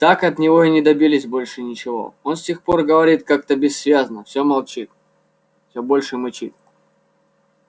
так от него и не добились больше ничего он с тех пор говорит как-то бессвязно все больше мычит